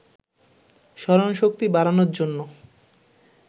স্মরণশক্তি বাড়ানোর জন্য